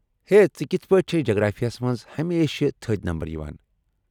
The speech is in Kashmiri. ہے، ژٕ کتھہٕ پٲٹھۍ چھےٚ جغرافیہ ہس منٛز ہمیشہِ تھٕدۍ نمبر یوان؟